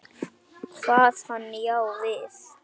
Kvað hann já við.